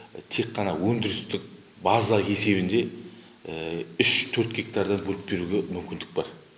тек қана өндірістік база есебінде үш төрт гектардан бөліп беруге мүмкіндік бар